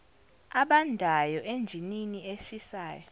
abandayo enjinini eshisayo